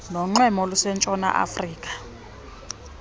nonxweme olusentshona yeafrika